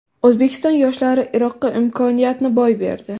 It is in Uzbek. O‘zbekiston yoshlari Iroqqa imkoniyatni boy berdi.